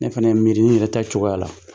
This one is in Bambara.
Ne fana ye miiri n yɛrɛ ta cogoya la.